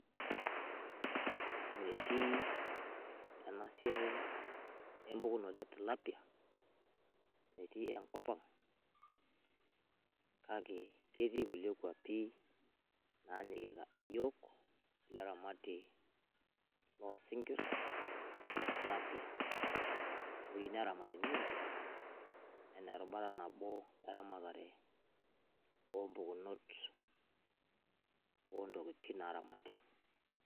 Metii ena siai empukunoto e tilapia, metii enkop ang. Kake ketii kulie kwapi naanyikita iyook ilo ramatie loo sinkir le tilapie, ewei neramati neing'ori anaa erubata nabo eramatare o mpukunoto o ntokitin naing'ori.